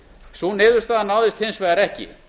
sú niðurstaða náðist hins vegar ekki